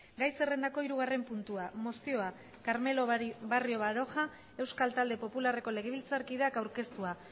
gai zerrendako hirugarren puntua mozioa carmelo barrio baroja euskal talde popularreko legebiltzarkideak aurkeztua